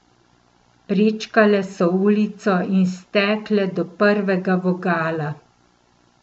Prečkale so ulico in stekle do prvega vogala.